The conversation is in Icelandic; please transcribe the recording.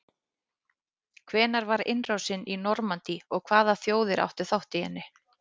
hvenær var innrásin í normandí og hvaða þjóðir áttu þátt í henni